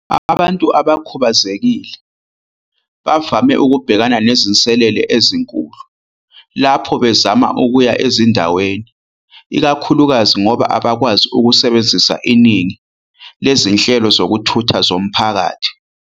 "Abantu abakhubazekile bavame ukubhekana nezinselele ezinkulu lapho bezama ukuya ezindaweni, ikakhulukazi ngoba abakwazi ukusebenzisa iningi lezinhlelo zokuthutha zomphakathi.